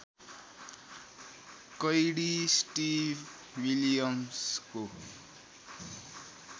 Cady Steve विलियम्सको